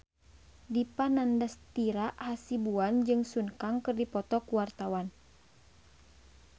Dipa Nandastyra Hasibuan jeung Sun Kang keur dipoto ku wartawan